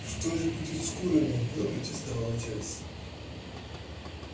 что же будет с курами запротестовал отец